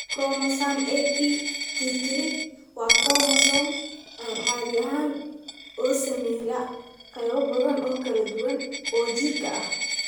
Chromosome 8p tirtirid waa koromosoom aan caadi ahayn oo saameeya qaybo badan oo kala duwan oo jirka ah.